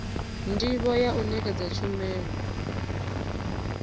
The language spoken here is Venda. ndivho ya u nekedza tshumelo